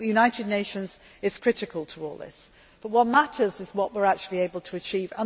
I think the United Nations are critical to all this, but what matters is what we are actually able to achieve.